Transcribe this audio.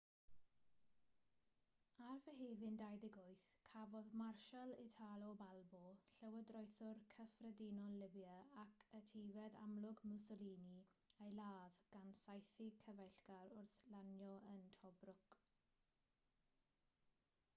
ar fehefin 28 cafodd marshal italo balbo llywodraethwr cyffredinol libia ac etifedd amlwg mussolini ei ladd gan saethu cyfeillgar wrth lanio yn tobruk